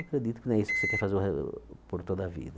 Eu acredito que não é isso que você quer fazer o re por toda a vida.